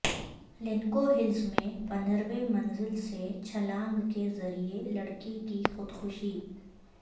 Lanco Hills میں پندرہویں منزل سے چھلانگ کے ذریعہ لڑکی کی خودکشی